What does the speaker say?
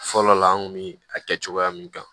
Fɔlɔ la an kun bi a kɛ cogoya min kan